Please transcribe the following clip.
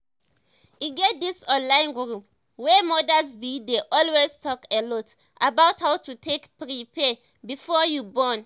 e get dis online group wey modas b dey always talk a lot about how to take prepare before you born